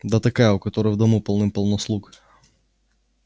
да такая у которой в дому полным-полно слуг